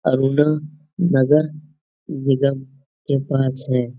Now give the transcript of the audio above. अर्नव नगर निगम के पास है।